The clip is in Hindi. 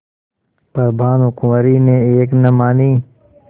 पर भानुकुँवरि ने एक न मानी